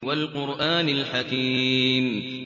وَالْقُرْآنِ الْحَكِيمِ